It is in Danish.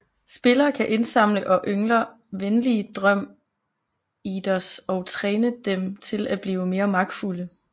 Spillere kan indsamle og yngler venlige drøm Eaters og træne dem til at blive mere magtfulde